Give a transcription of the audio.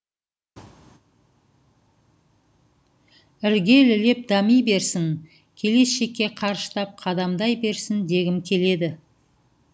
іргелілеп дами берсін келешекке қарыштап қадамдай берсін дегім келеді